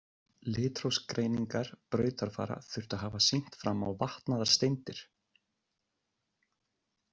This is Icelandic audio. Litrófsgreiningar brautarfara þurftu að hafa sýnt fram á vatnaðar steindir.